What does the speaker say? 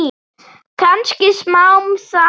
Kannski smám saman.